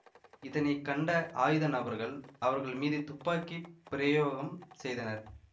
இதனை கண்ட ஆயுத நபர்கள் அவர்கள் மீது துப்பாக்கி பிரயோகம் செய்தனர்